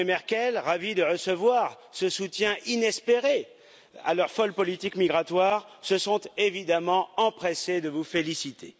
Macron et Mme Merkel, ravis de recevoir ce soutien inespéré à leur folle politique migratoire, se sont évidemment empressés de vous féliciter.